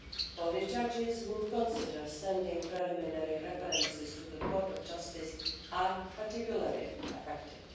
Polish judges who consider sending preliminary references to the Court of Justice are particularly affected.